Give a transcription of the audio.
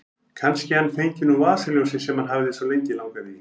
Kannski hann fengi nú vasaljósið sem hann hafði svo lengi langað í.